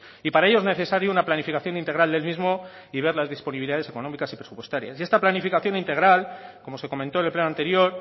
y para ello es necesaria una planificación integral del mismo y ver las ver las disponibilidades económicas y presupuestarias y esta planificación integral como se comentó en el pleno anterior